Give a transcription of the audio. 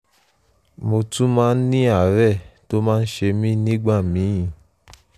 mo tún máa ń ní àárẹ̀ tó máa ń ṣe mí nígbà míì